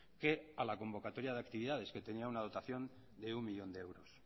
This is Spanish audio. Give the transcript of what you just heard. que a la convocatoria de actividades que tenía una dotación de uno millón de euros